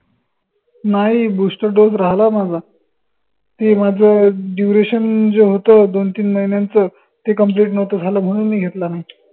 नाई boosterdose राहलाय माझा ते माझं duration जे होत दोन तीन महिन्यांचं ते complete नव्हतं झालं म्हनून मी घेतलं नाई